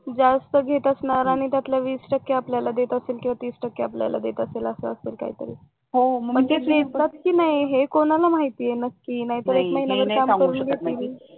जास्त घेत असणार आणि त्यातलं वीस टक्के किंवा तीस टक्के आपल्याला देत असतील असं असेल काहीतरी पण ते देतात कि नाही हे कोणाला माहिती आहे नक्की नाहीतर महिनाभर काम करून घेतील